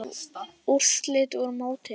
Úrslit úr mótinu